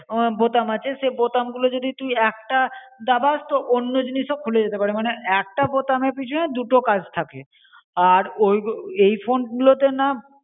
বোতাম আছে সে বোতাম গুলো যদি তুই একটা দাবাস তো অন্য জিনিস ও খুলে যেতে পরে মনে একটা বোতামের পিছনে দুটো কাজ থাকে আর ওইগুলো আই ফোনগুলো তে না